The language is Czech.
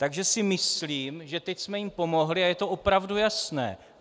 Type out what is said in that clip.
Takže si myslím, že teď jsme jim pomohli a je to opravdu jasné.